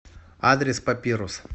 адрес папирус